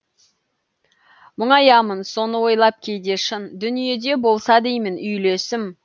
мұңаямын соны ойлап кейде шын дүниеде болса деймін үйлесім